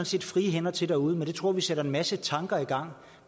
set frie hænder til derude men det tror vi sætter en masse tanker i gang om